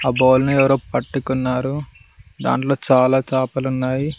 ఆ బౌల్ ని ఎవరో పట్టుకున్నారు దాంట్లో చాలా చాపలు ఉన్నాయి.